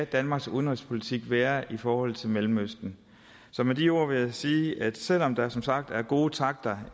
danmarks udenrigspolitik skal være i forhold til mellemøsten så med de ord vil jeg sige at selv om der som sagt er gode takter